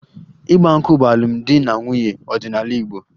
Igba nkwu' bụ emume alụmdi na nwunye ọdịnala Igbo